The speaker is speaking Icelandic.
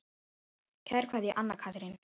Kær kveðja, Anna Karín.